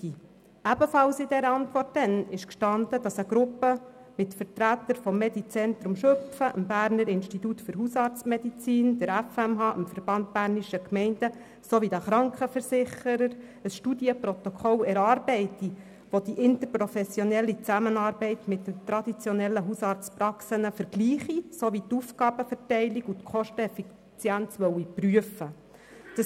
Ebenfalls war damals in der Antwort zu lesen, dass eine Gruppe mit Vertretern des Medizentrums Schüpfen, dem Berner Institut für Hausarztmedizin, der FMH, dem Verband bernischer Gemeinden (VBG) sowie der Krankenversicherer ein Studienprotokoll erarbeitet, das die interprofessionelle Zusammenarbeit mit den traditionellen Hausarztpraxen vergleiche sowie die Aufgabenverteilung und die Kosteneffizienz prüfen wolle.